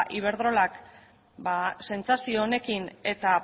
iberdrola sentsazio honekin eta